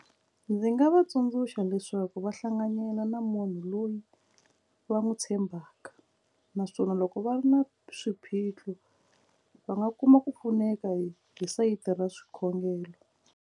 Ndzi nga va tsundzuxa leswaku va hlanganyela na munhu loyi va n'wi tshembaka naswona loko va ri na swiphiqo va nga kuma ku pfuneka hi hi sayiti ra swikhongelo.